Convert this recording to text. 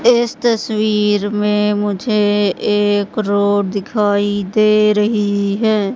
इस तस्वीर में मुझे एक रोड दिखाई दे रही है।